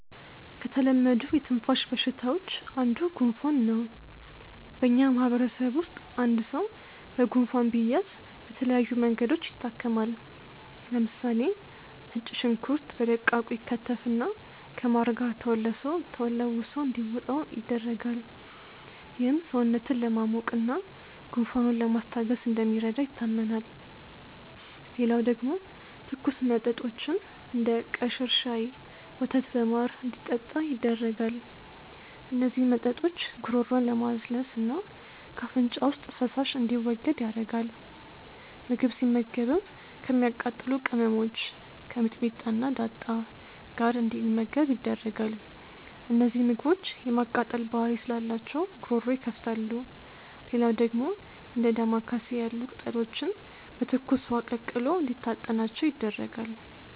ከተለመዱ የትንፋሽ በሽታዎች አንዱ ጉንፋን ነው። በእኛ ማህበረሰብ ውስጥ አንድ ሰው በጉንፋን ቢያዝ በተለያዩ መንገዶች ይታከማል። ለምሳሌ ነጭ ሽንኩርት በደቃቁ ይከተፍና ከማር ጋር ተለውሶ እንዲውጠው ይደረጋል። ይህም ሰውነትን ለማሞቅ እና ጉንፋኑን ለማስታገስ እንደሚረዳ ይታመናል። ሌላው ደግሞ ትኩስ መጦችን፤ እንደ ቀሽር ሻይ፣ ወተት በማር እንዲጠጣ ይደረጋል። እነዚህ መጠጦች ጉሮሮን ለማለስለስ እና ከአፍንጫ ውስጥ ፈሳሽ እንዲወገድ ያረጋል። ምግብ ሲመገብም ከሚያቃጥሉ ቅመሞች(ከሚጥሚጣ እና ዳጣ) ጋር እንዲመገብ ይደረጋል። እነዚህ ምግቦች የማቃጠል ባህሪ ስላላቸው ጉሮሮ ይከፍታሉ። ሌላው ደግሞ እንደ ዳማከሴ ያሉ ቅጠሎችን በትኩስ ውሀ ቀቅሎ እንዲታጠናቸው ይደረጋል።